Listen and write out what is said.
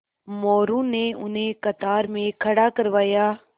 मोरू ने उन्हें कतार में खड़ा करवाया